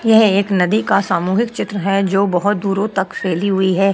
यह एक नदी का सामूहिक चित्र है जो बहोत दूरों तक फैली हुई है।